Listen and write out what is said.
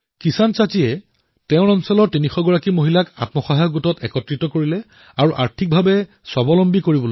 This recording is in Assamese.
কিসান চাচীয়ে নিজৰ এলেকাৰ ৩০০ গৰাকী মহিলাৰ দ্বাৰা আত্মসহায়ক গোট গঠন কৰি আৰ্থিকৰূপত স্বাৱলম্বী কৰি তুলিছে